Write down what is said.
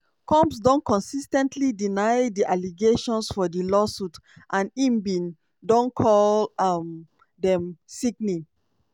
combs don consis ten tly deny di allegations for di lawsuits and im bin don call um dem "sickening".